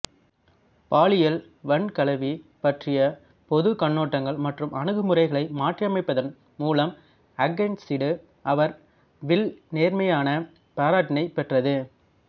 பாலியல் வன்கலவி பற்றிய பொது கண்ணோட்டங்கள் மற்றும் அணுகுமுறைகளை மாற்றியமைத்ததன் மூலம் அகைன்சிடு அவர் வில் நேர்மறையான பாராட்டினைப் பெற்றது